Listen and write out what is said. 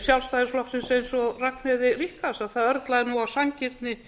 sjálfstæðisflokksins eins og ragnheiði ríkharðs að það örlaði nú á sanngirni